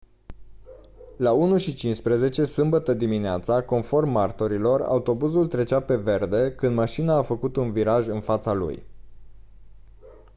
la 01:15 sâmbătă dimineață conform martorilor autobuzul trecea pe verde când mașina a făcut un viraj în fața lui